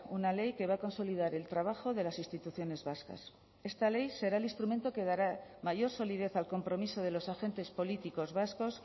una ley que va a consolidar el trabajo de las instituciones vascas esta ley será el instrumento que dará mayor solidez al compromiso de los agentes políticos vascos